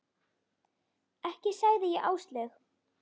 Ekki ég sagði Áslaug.